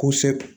Ko se